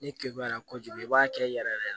Ni kegela kojugu i b'a kɛ yɛrɛ yɛrɛ